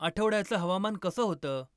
आठवड्याचं हवामान कसं होतं?